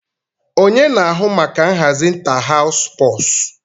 Onye na-ahụ maka nhazi ịntáháws sụpọọsụ